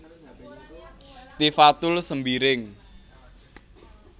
Tifatul Sembiring